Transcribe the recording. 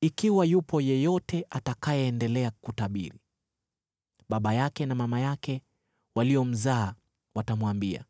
Ikiwa yupo yeyote atakayeendelea kutabiri, baba yake na mama yake waliomzaa watamwambia,